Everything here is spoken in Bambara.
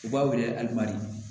U b'a wele hali madi